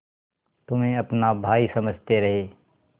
तुम्हें अपना भाई समझते रहे